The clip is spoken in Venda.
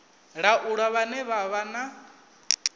laula vhane vha vha na